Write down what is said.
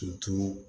K'i to